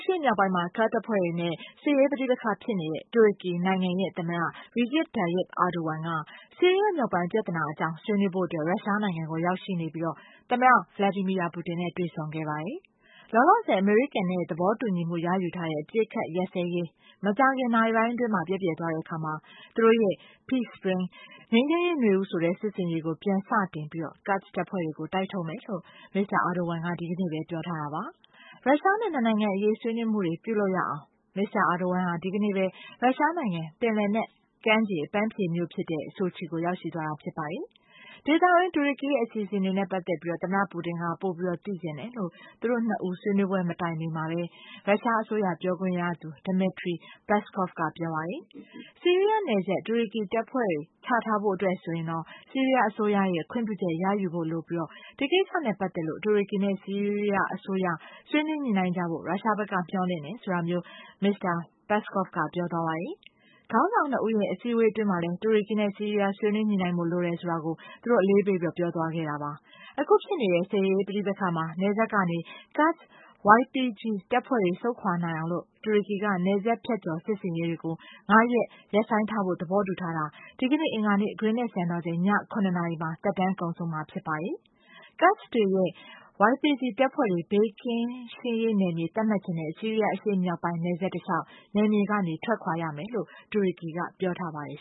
ရှေ့မြောက်ပိုင်းမှာ ကာ့ဒ်တပ်ဖွဲ့တွေနဲ့ စစ်ရေးပဋိပက္ခဖြစ်နေတဲ့ တူရကီနိုင်ငံရဲ့ သမ္မတ Recep Tayyip Erdogan က ဆီးရီးယား မြောက်ပိုင်း ပြဿနာအကြောင်း ဆွေးနွေးဖို့ ရုရှားနိုင်ငံကိုရောက်ရှိနေပြီး သမ္မတ Vladimir Putin နဲ့ တွေ့ဆုံခဲ့ပါတယ်။ လောလောဆယ် အမေရိကန်နဲ့ သဘောတူညီမှုရယူထားတဲ့ အပစ်အခတ်ရပ်စဲရေး မကြာခင်နာရီပိုင်းအတွင်း ပျက်ပြယ်သွားတဲ့အခါမှာ သူတို့ရဲ့ Peace Spring ငြိမ်းချမ်းရေးနွေဦး ဆိုတဲ့ စစ်ဆင်ရေးကို ပြန်စတင်ပြီး ကာ့ဒ်တပ်ဖွဲ့တွေကို တိုက်ထုတ်မယ်လို့ မစ္စတာ အာဒိုဝမ်က ဒီကနေ့ပဲ ပြောထားတာပါ။ ရုရှားနဲ့ နှစ်နိုင်ငံအရေး ဆွေးနွေးမှုတွေ ပြုလုပ်ရအောင် မစ္စတာ အာဒိုဝမ် ဟာ ဒီကနေ့ပဲ ရုရှားနိုင်ငံ ပင်လယ်နက်ကမ်းခြေ အပန်းဖြေမြို့ဖြစ်တဲ့ ဆိုချီ ကို ရောက်ရှိသွားတာဖြစ်ပါတယ်။ ဒေသတွင်း တူရကီရဲ့အစီအစဉ်တွေနဲ့ပတ်သက်ပြီး မစ္စတာ ပူတင်က ပိုပြီးသိချင်တယ်လို့ သူတို့နှစ်ဦး ဆွေးနွေးပွဲမတိုင်မီမှာပဲ ရုရှားအစိုးရပြောခွင့်ရသူ Dmitry Peskov က ပြောပါတယ်။ ဆီးရီးယားနယ်စပ် တူရကီတပ်ဖွဲ့ ချထားဖို့အတွက်ဆိုရင် ဆီးရီးယားအစိုးရရဲ့ ခွင့်ပြုချက်ရဖို့လိုပြီး ဒီကိစ္စနဲ့ ပတ်သက်လို့ တူရကီနဲ့ ဆီးရီးယားအစိုးရ ဆွေးနွေးညှိနှိုင်းကြဖို့ ရုရှားဘက်က မျှော်လင့်တယ် ဆိုတာမျိုး မစ္စတာ Peskov က ပြောသွားပါတယ်။ ခေါင်းဆောင်နှစ်ဦးရဲ့ အစည်းအဝေး အတွင်းမှာလည်း တူရကီနဲ့ဆီးရီးယား ဆွေးနွေး ညှိနှိုင်းဖို့ လိုတယ်ဆိုတာကို သူတို့အလေးပေးပြောသွားခဲ့ပါတယ်။ အခုဖြစ်နေတဲ့ စစ်ရေးပဋိပက္ခမှာ နယ်စပ်ကနေ Kurds YPG တပ်ဖွဲ့တွေ ဆုပ်ခွာနိုင်အောင် တူရကီက နယ်စပ်ဖြတ်ကျော်စစ်ဆင်ရေးတွေကို ၅ ရက် ရပ်ဆိုင်းထားဖို့ သဘောတူထားတာ ဒီနေ့ အင်္ဂါနေ့ ဂရင်းနစ်စံတော်ချိန် ည ၇ နာရီမှာ သက်တမ်းကုန်ဆုံးမှ ဖြစ်ပါတယ်။ Kurds တွေရဲ့ YPG တပ်ဖွဲ့တွေ ဘေးကင်းရှင်းရေးနယ်မြေ သတ်မှတ်ချင်တဲ့ Syria အရှေ့မြောက်ပိုင်းနယ်စပ်တလျှောက် နယ်မြေကနေ ထွက်ခွာရမယ်လို့ တူရကီက ပြောပါတယ်